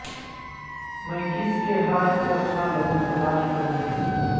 میں کس کے ہاتھ پہ اپنا لہو تلاش کروں